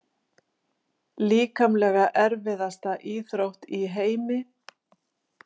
Líkamlega erfiðasta íþrótt í heimi?